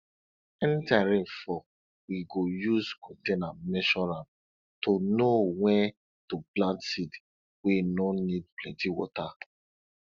anytime rain fall we go use container measure am to know wen to plant seed wey no need plenty water